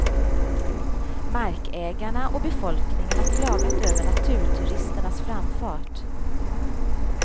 Markägarna och befolkningen har klagat över naturturisternas framfart.